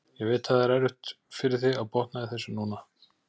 Ég veit að það er erfitt fyrir þig að botna í þessu núna.